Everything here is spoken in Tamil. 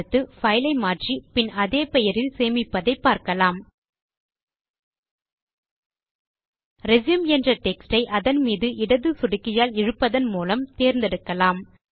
அடுத்து பைல் ஐ மாற்றி பின் அதே பெயரில் சேமிப்பதை பார்க்கலாம் ரெச்யூம் என்ற டெக்ஸ்ட் யை அதன் மீது இடது சொடுக்கியால் இழுப்பதன் மூலம் தேர்ந்தெடுங்கள்